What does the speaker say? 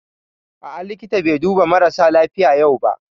A'a, likita bai duba marasa lafiya yau ba